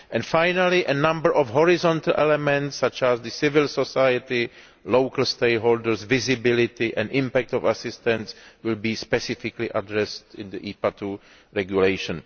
Finally a number of horizontal elements such as the civil society, local stakeholders and the visibility and impact of assistance will be specifically addressed in the IPA II regulation.